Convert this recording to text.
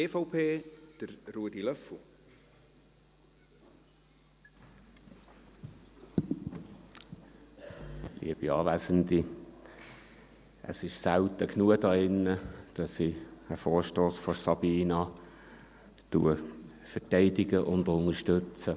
Es ist selten genug hier in diesem Saal, dass ich einen Vorstoss von Sabina Geissbühler verteidige und unterstütze.